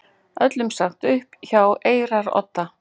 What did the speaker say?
Öllum sagt upp hjá Eyrarodda